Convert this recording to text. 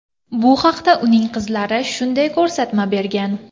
Bu haqda uning qizlari shunday ko‘rsatma bergan.